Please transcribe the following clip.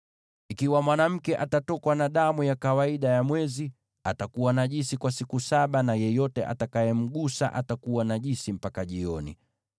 “ ‘Ikiwa mwanamke atatokwa na damu ya kawaida ya mwezi, atakuwa najisi kwa siku saba, na yeyote atakayemgusa atakuwa najisi mpaka jioni.